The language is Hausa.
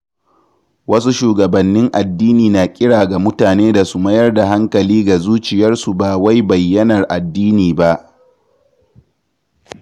Wasu shugabannin addini na kira ga mutane da su mayar da hankali ga zuciyarsu ba wai bayyanar addini ba.